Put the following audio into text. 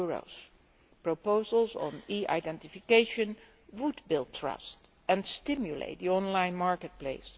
There are proposals on e identification to build trust and stimulate the online marketplace